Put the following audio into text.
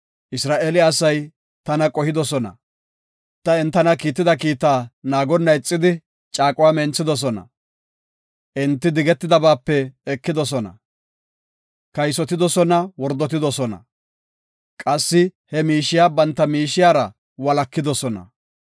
Isra7eele asay qohidosona; ta entana kiitida kiita naagonna ixidi, caaquwa menthidosona. Enti digetidabaape ekidosona; kaysotidosona; wordotidosona; qassi he miishiya banta miishiyara walakidosona.